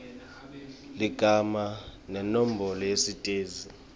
ligama nenombolo yesitezi